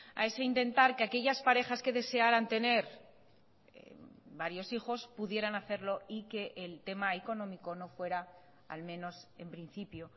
a ese intentar que aquellas parejas que desearan tener varios hijos pudieran hacerlo y que el tema económico no fuera al menos en principio